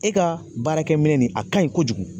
E ka baarakɛminɛ nin a kaɲi kojugu